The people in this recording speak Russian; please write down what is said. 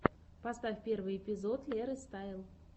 поставь первый эпизод леры стайл